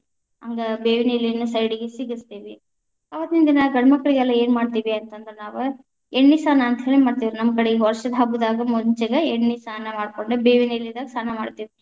ಹಂಗ ಬೇವಿನೆಲೆನು side ಗೆ ಸಿಗಸ್ತೇವಿ. ಅವತ್ತೀನ್‌ ದಿನ, ಗಂಡ್ಮಕ್ಕಳಿಗೆಲ್ಲಾ ಏನ್‌ ಮಾಡ್ತೀವಿ ಅಂತ ಅಂದ್ರ ನಾವ್‌ ಎಣ್ಣಿಸ್ನಾನ ಅಂತ ಹೇಳಿ ಮಾಡ್ತೀವಿ. ನಮ್ಮ ಕಡೆ ವಷ೯ದ ಹಬ್ಬದಾಗ ಮುಂಚೆನೇ ಎಣ್ಣಿಸ್ನಾನ ಮಾಡ್ಕೊಂಡ ಬೇವಿನ ಎಲಿದಾಗ ಸ್ನಾನ ಮಾಡ್ತೇವಿ.